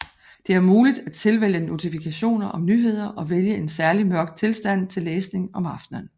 Det er muligt at tilvælge notifikationer om nyheder og vælge en særlig mørk tilstand til læsning om aftenen